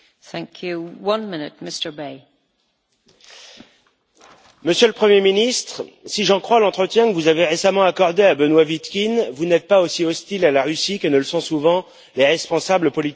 Madame la Présidente, Monsieur le Premier ministre, si j'en crois l'entretien que vous avez récemment accordé à Benoît Vitkine, vous n'êtes pas aussi hostile à la Russie que ne le sont souvent les responsables politiques baltes.